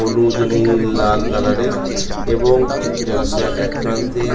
হলুদ নীল লাল কালার -এর এবং জলাশয়ের একপ্রান্তে--